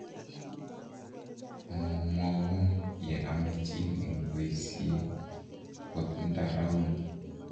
mwomwoun ye amechin eng boisie akot nda rauni